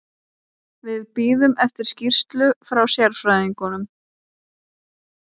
Við bíðum eftir skýrslu frá sérfræðingnum.